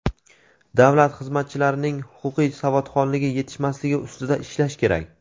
davlat xizmatchilarining huquqiy savodxonligi yetishmasligi ustida ishlash kerak.